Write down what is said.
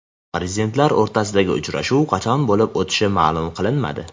Prezidentlar o‘rtasidagi uchrashuv qachon bo‘lib o‘tishi ma’lum qilinmadi.